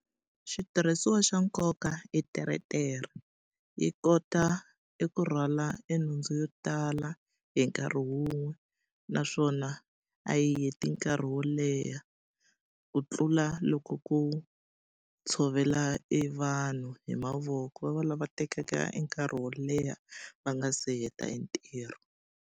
Xitirhisiwa xa nkoka i teretere. Yi kota eku rhwala nhundzu yo tala hi nkarhi wun'we. Naswona a yi heti nkarhi wo leha. Ku tlula loko ku tshovela e vanhu hi mavoko. Va va lava tekaka e nkarhi wo leha va nga se heta e ntirho.